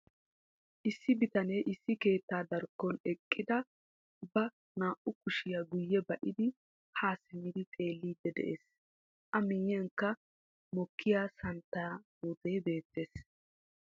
Issi bitanee issi keettaa darkkon eqqidi ba naa"u kushiya guye ba''idi ha simmidi xeellidi de'ees. A miyiyankka mokkiya santtaa puutee beettees.